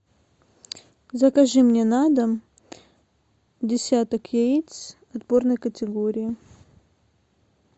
закажи мне на дом десяток яиц отборной категории